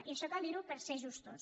i això cal dir ho per ser justos